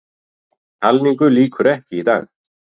Talningu lýkur ekki í dag